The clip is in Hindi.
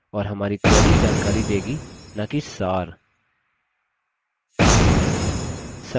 और हमारी query जानकारी देगी नाकि सार